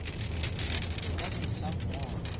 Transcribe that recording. le ka se sa mmona